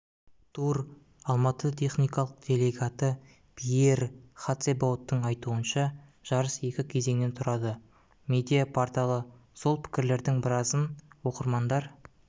тур алматы техникалық делегаты пьер хатсебауттың айтуынша жарыс екі кезеңнен тұрады медиа-порталы сол пікірлердің біразын оқырмандар